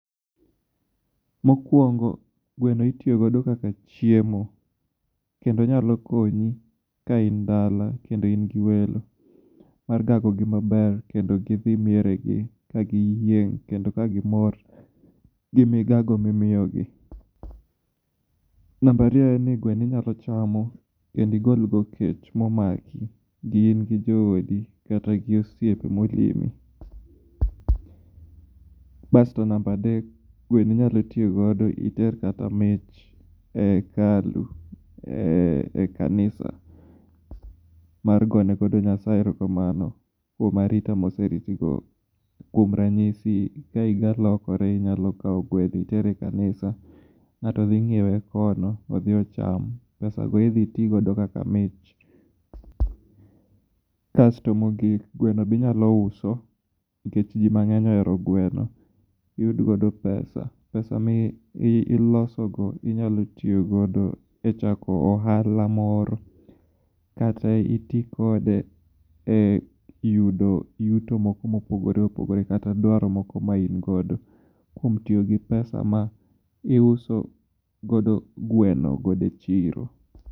Mokwongo gweno itiyo godo kaka chiemo kendo onyalo konyi ka in dala kendo in gi welo mar gagi gi maber mondo gidhi miere gi ka giyieng' kendo ka gimor gi migago mimiyogi . Namba ariyo en ni gweno inyalo chamo kendo igol go kech momako in gi joodi kata gi osiepe molimi. Basto namba adek gweno inyalo tiyo godo iter kata mich e hekalu e kanisa mar gone godo Nyasaye erokamano kuom arita moseritigo. Kuom ranyisi ka higa lokore inyalo kawo gweno iter e kanisa ng'ato dhi nyiewe kono odhi ocham pesago idhi ti godo kaka mich. Kasto mogik gweno be inyalo uso nikech jii mang'eny ohero gweno iyud godo pesa. Pesa milosogo inyalo tiyo godo e chako ohala moro kata iti kode e yudo yuto moro mopogore opogore kata dwaro moko ma in godo kuom tiyo gi pesa ma iuso godo gweno e chiro.